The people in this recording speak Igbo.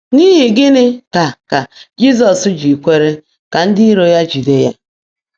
N’ihi gịnị ka ka Jizọs ji kwere ka ndị iro ya jide ya?